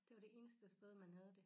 Det var det eneste sted man havde det